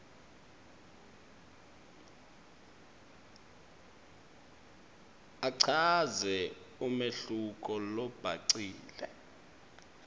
achaze umehluko lobhacile